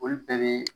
Olu bɛɛ bɛ